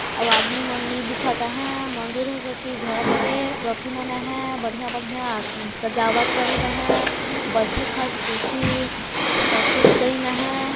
अउ आदमी मन नी दिखत है मंदिर है के कि घर है के ट्रॉफी मने है बढ़िया बढ़िया सजावट करीन है बईठे खास कुर्सी सब कुछ दईन है।